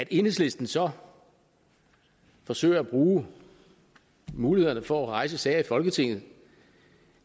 enhedslisten så forsøger at bruge mulighederne for at rejse sager i folketinget